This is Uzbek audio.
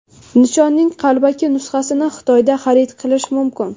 Nishonning qalbaki nusxasini Xitoyda xarid qilish mumkin.